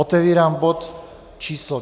Otevírám bod číslo